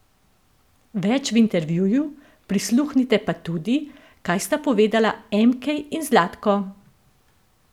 Več v intervjuju, prisluhnite pa tudi, kaj sta povedala Emkej in Zlatko!